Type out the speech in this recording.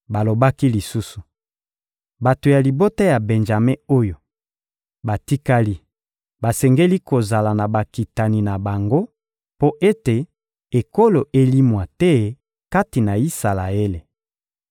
Balobaki lisusu: «Bato ya libota ya Benjame oyo batikali basengeli kozala na bakitani na bango, mpo ete ekolo elimwa te kati na Isalaele.